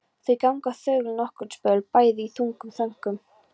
Þau ganga þögul nokkurn spöl, bæði í þungum þönkum.